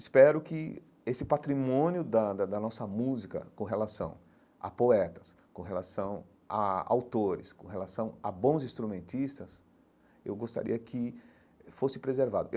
Espero que esse patrimônio da da da nossa música com relação a poetas, com relação a autores, com relação a bons instrumentistas, eu gostaria que fosse preservado.